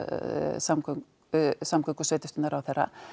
samgöngu samgöngu og sveitastjórnar ráðherra